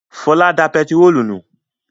Fọlá da pẹtírólù nù.